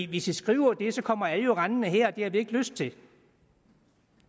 hvis i skriver det så kommer alle jo rendende her og det har vi ikke lyst til